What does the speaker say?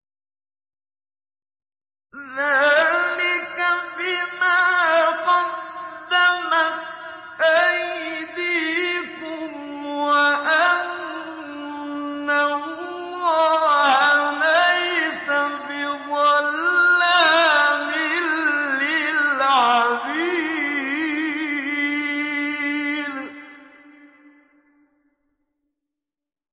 ذَٰلِكَ بِمَا قَدَّمَتْ أَيْدِيكُمْ وَأَنَّ اللَّهَ لَيْسَ بِظَلَّامٍ لِّلْعَبِيدِ